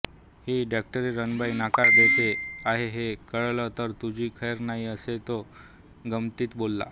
ही डॉक्टरीणबाई नकार देते आहे हे कळलं तर तुझी खैर नाही असे तो गमतीत बोलला